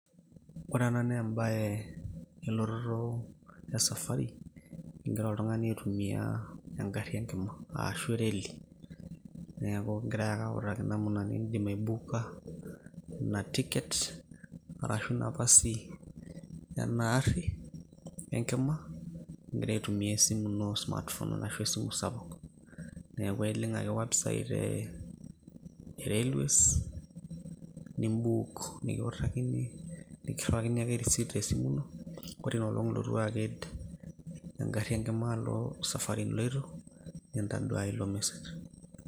Ore ena naa ebae elototo esafari, igira oltung'ani aitumia egarri enkima ashu ereli. Neeku kegirai ake autaki namuna nibuuka ina ticket, arashu nafasi enaarri enkima, igira aitumia esimu ino smart phone, ashu esimu sapuk. Neeku ailink ake website e Railways, nibuk, nikiutakini. Nikirriwakini ake risit tesimu ino, ore inoolong' nilotu aked egarri enkima alo esafari niloito, nintaduaya ilo mesej.